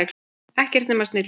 Ekkert nema snillingar.